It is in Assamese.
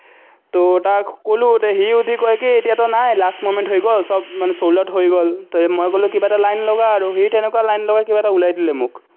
তাক ক'লো, এতিয়া সি কয় কি, এতিয়াতো নাই, last moment হৈ গ'ল, চব মানে sold out হৈ গ'ল, মই ক'লো, কিবা এটা লাইন লগা আৰু সি তেনেকুৱা লাইন লগাই কিবা এটা ওলাই দিলে মোক।